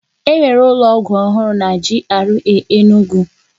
E nwere ụlọ ọgwụ ọhụrụ na GRA Enugwu